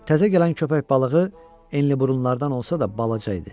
Təzə gələn köpək balığı enli burunlardan olsa da, balaca idi.